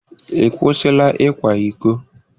Ị kwụsịla ịkwa iko?